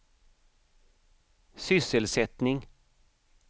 sysselsättning